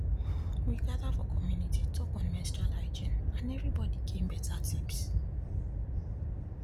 we gather for community talk on menstrual hygiene and everybody gain better tips